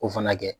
O fana kɛ